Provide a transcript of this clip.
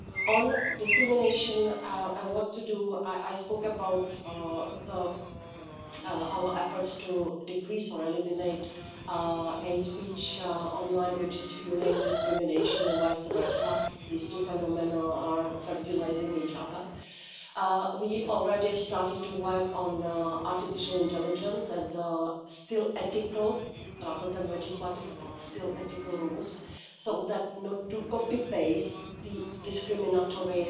On discrimination and what to do, I spoke about our efforts to decrease or eliminate hate-speech online, which is fuelling discrimination and vice-versa as these two phenomena are fertilising each other. We already started to work on artificial intelligence and there are still ethical rather than legislative, but still ethical rules, so that not to copy paste the discriminatory